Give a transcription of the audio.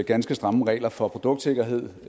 ganske stramme regler for produktsikkerhed